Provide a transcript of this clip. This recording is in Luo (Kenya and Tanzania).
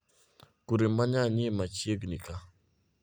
Kure manyanyie machiengni ka?